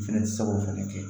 Fɛnɛ tɛ se k'o fɛnɛ kɛ